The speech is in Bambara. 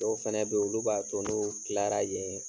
Dɔw fɛnɛ be ye, olu b'a to n'u tilara yen